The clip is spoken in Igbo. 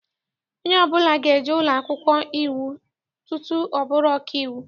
Onye ọbụla ga-eje ụlọakwụkwọ iwu tutu ọ bụrụ ọkaiwu.